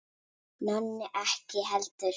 Nonni ekki heldur.